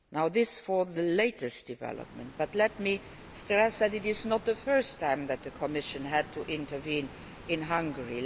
This is the latest development, but let me stress that this is not the first time the Commission has had to intervene in Hungary.